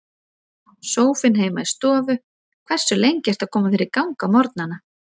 Sófinn heima í stofu Hversu lengi ertu að koma þér í gang á morgnanna?